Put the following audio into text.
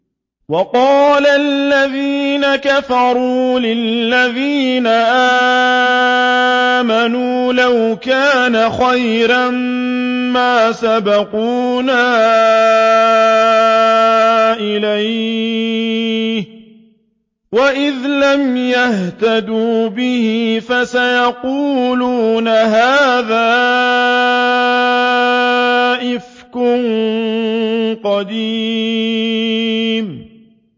وَقَالَ الَّذِينَ كَفَرُوا لِلَّذِينَ آمَنُوا لَوْ كَانَ خَيْرًا مَّا سَبَقُونَا إِلَيْهِ ۚ وَإِذْ لَمْ يَهْتَدُوا بِهِ فَسَيَقُولُونَ هَٰذَا إِفْكٌ قَدِيمٌ